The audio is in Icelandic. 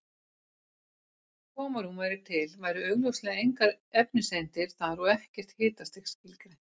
Ef algjört tómarúm væri til væru augljóslega engar efniseindir þar og ekkert hitastig skilgreint.